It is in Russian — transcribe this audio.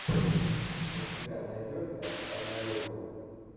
у тебя найдется однолюбы